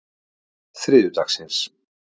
þriðjudagsins